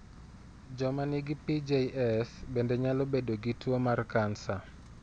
Joma nigi PJS bende nyalo bedo gi tuwo mar kansa.